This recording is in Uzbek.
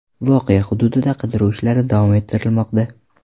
Voqea hududida qidiruv ishlari davom ettirilmoqda.